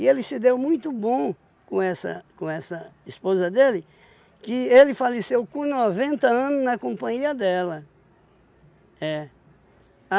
ele se deu muito bom com essa com essa esposa dele, que ele faleceu com noventa anos na companhia dela. É.